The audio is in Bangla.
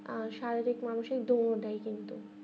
আমরা স্বাভাবিক মানুষই দেয় কিন্তু